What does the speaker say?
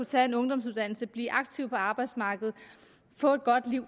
tage en ungdomsuddannelse blive aktiv på arbejdsmarkedet og få et godt liv